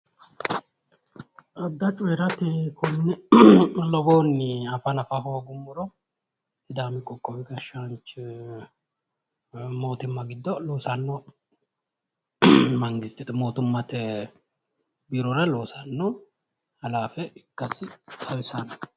Adda cooyiirate konne lowohunni afa nafa hoogummoro sidaami qoqqowi gashshaanchi mootimma giddo loosanno mootimmate biirora loosanno halaafe ikkasi xawisanno